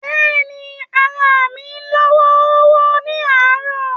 But ni, ara mi lọ́ wọ́ọ́rọ́wọ́ ni àárọ̀.